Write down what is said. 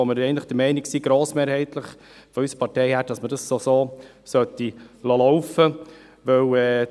Wir sind in unserer Partei grossmehrheitlich der Meinung, dass man dies so weiterlaufen lassen sollte.